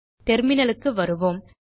terminal வருவோம்